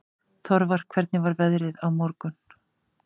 Þorvar, hvernig er veðrið á morgun?